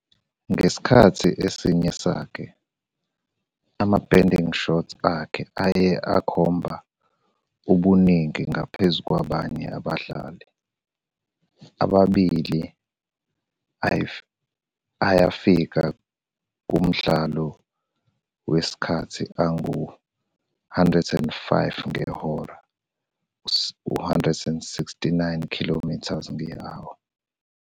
ngesikhathi esinye sakhe, ama-bending shots akhe aye akhomba ubuningi ngaphezu kwabanye abadlali, amabili ayafika kumdlalo wesikhathi angu-105 ngehora, 169 km per h.